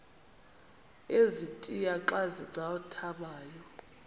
ezintia xa zincathamayo